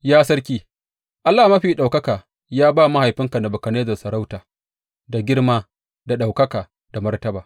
Ya sarki, Allah Mafi Ɗaukaka ya ba mahaifinka Nebukadnezzar sarauta, da girma, da ɗaukaka, da martaba.